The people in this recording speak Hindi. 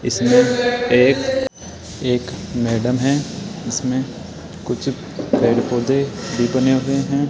इसमे एक एक मैडम है इसमें कुछ पेड़ पौधे भी बने हुए हैं।